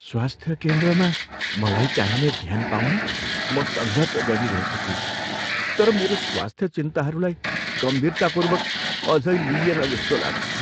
स्वास्थ्य केन्द्रमा मलाई चाहिने ध्यान पाउन म सङ्घर्ष गरिरहेको छु तर मेरो स्वास्थ्य चिन्ताहरूलाई गम्भीरतापूर्वक अझै लिइएन जस्तो लाग्छ।